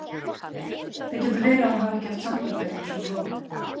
Það getur verið að hún hafi ekki haft samband við mig einsog hún lofaði.